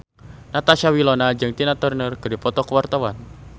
Natasha Wilona jeung Tina Turner keur dipoto ku wartawan